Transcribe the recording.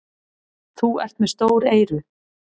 Þú ert með stór eyru.